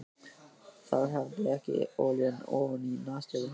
Það hafði lekið olía ofaní nasir hans.